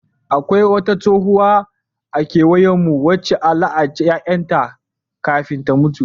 Akwai wata tsohuwa a kauyenmu wacce a la'anci ƴaƴan ta kafin ta mutu.